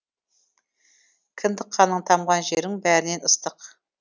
кіндік қаның тамған жерің бәрінен ыстық